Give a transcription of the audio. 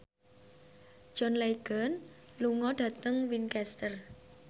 John Legend lunga dhateng Winchester